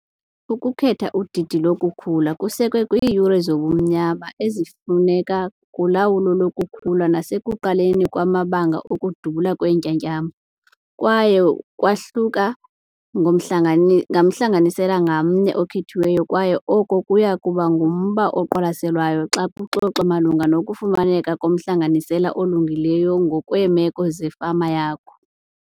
Ukukhetha udidi lokukhula kusekwe kwiiyure zobumnyama ezifuneka kulawulo lokukhula nasekuqaleni kwamabanga okudubula kweentyatyambo kwaye kwahluka ngomhlanganisela ngamnye okhethiweyo kwaye oko kuya kuba ngumba oqwalaselwayo xa kuxoxwa malunga nokufumaneka komhlanganisela olungileyo ngokweemeko zefama yakho.